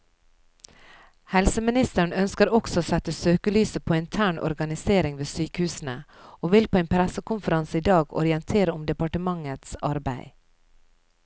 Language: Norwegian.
Helseministeren ønsker også å sette søkelyset på intern organisering ved sykehusene, og vil på en pressekonferanse i dag orientere om departementets arbeid.